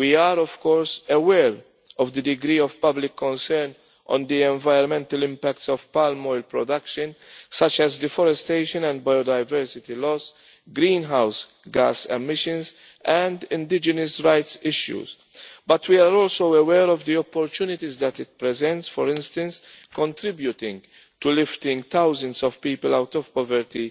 We are of course aware of the degree of public concern at the environmental impacts of palm oil production, such as deforestation and biodiversity loss, greenhouse gas emissions and indigenous rights issues, but we are also aware of the opportunities that it presents, for instance contributing to lifting thousands of people out of poverty